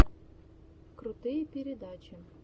крутые передачи